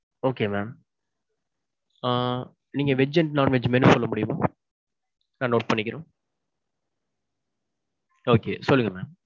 okay mam. ஆ நீங்க veg and non-veg menu சொல்ல முடியுமா? நான் note பண்ணிக்கிறோம். okay சொல்லுங்க mam.